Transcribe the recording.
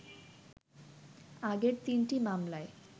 আগের তিনটি মামলায়